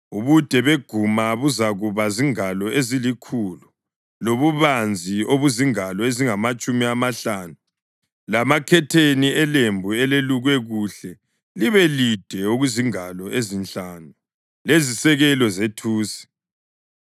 Ubude beguma buzakuba zingalo ezilikhulu lobubanzi obuzingalo ezingamatshumi amahlanu lamakhetheni elembu elelukwe kuhle libe lide okuzingalo ezinhlanu, lezisekelo zethusi.